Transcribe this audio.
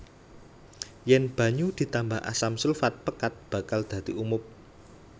Yèn banyu ditambah asam sulfat pekat bakal dadi umob